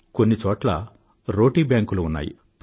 కొన్ని చోట్ల రోటీ బ్యాంకులు ఉన్నాయి